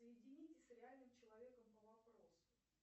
соедините с реальным человеком по вопросу